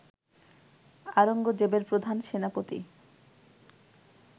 আওরঙ্গজেবের প্রধান সেনাপতি